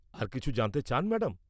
আর কিছু জানতে চান, ম্যাডাম?